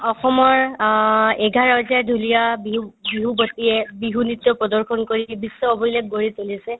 অসমৰ অ এঘাৰ হাজাৰ সৈতে ঢুলীয়া বিহু বিহুৱতীয়ে বিহু নৃত্য প্ৰদৰ্শন কৰি বিশ্ব অভিলেষ গঢ়ি তুলিছে